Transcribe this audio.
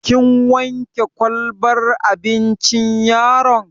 Kin wanke kwalbar abincin yaron?